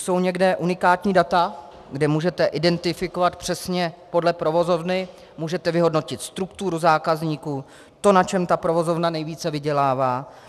Jsou někde unikátní data, kde můžete identifikovat přesně podle provozovny, můžete vyhodnotit strukturu zákazníků, to, na čem ta provozovna nejvíce vydělává?